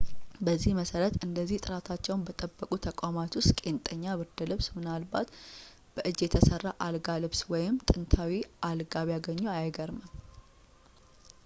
በዚህ መሠረት እንደዚህ ጥራታቸውን በጠበቁ ተቋማት ውስጥ ቄንጠኛ ብርድ ልብስ ምናልባት በእጅ የተሰራ አልጋ ልብስ ወይም ጥንታዊ አልጋ ቢያገኝ አይገርምም